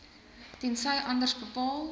tensy anders bepaal